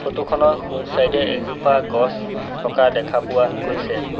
Photo খনৰ সোঁ side এ এজোপা গছ থকা দেখা পোৱা গৈছে।